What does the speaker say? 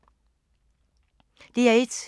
DR1